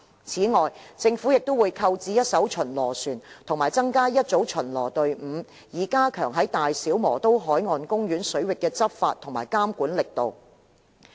此外，政府亦會購置一艘巡邏船及增加一組巡邏隊伍，以加強在大小磨刀海岸公園水域的執法及監管力度。